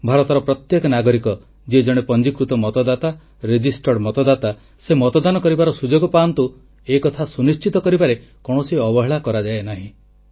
ଭାରତର ପ୍ରତ୍ୟେକ ନାଗରିକ ଯିଏ ଜଣେ ପଞ୍ଜୀକୃତ ମତଦାତା ସେ ମତଦାନ କରିବାର ସୁଯୋଗ ପାଆନ୍ତୁ ଏ କଥା ସୁନିଶ୍ଚିତ କରିବାରେ କୌଣସି ଅବହେଳା କରାଯାଏ ନାହିଁ